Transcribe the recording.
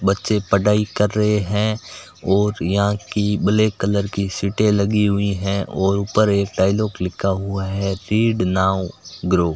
बच्चे पढ़ाई कर रहे हैं और यहां की ब्लैक कलर की सीटे लगी हुई है और ऊपर एक डायलॉग लिखा हुआ है रीड नाउ ग्रो --